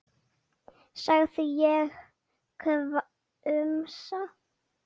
sagði ég hvumsa.